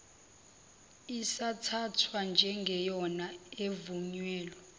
isathathwa njengeyona evunyelwe